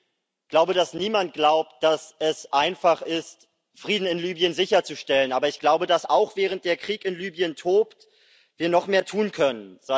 Ich glaube, dass niemand glaubt, dass es einfach ist, Frieden in Libyen sicherzustellen, aber ich glaube, dass wir, auch während der Krieg in Libyen tobt, noch mehr tun können.